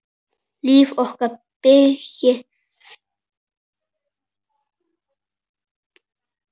Líf okkar byggist á henni.